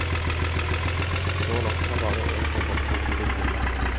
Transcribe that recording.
Så langt har bare en tobakksplante blitt tillatt.